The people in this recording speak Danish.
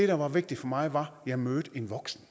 der var vigtigt for mig var at jeg mødte en voksen